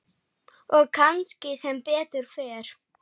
Og kannski sem betur fer.